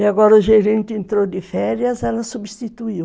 E agora o gerente entrou de férias, ela substituiu.